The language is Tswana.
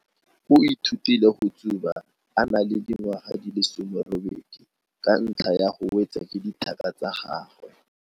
O ithutile go tsuba a na le dingwaga di le 18 ka ntlha ya go wetswa ke dithaka tsa gagwe.